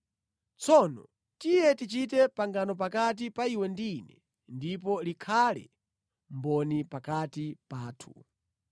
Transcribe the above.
Tsono, tiye tichite pangano pakati pa iwe ndi ine, ndipo likhale mboni pakati pathu.”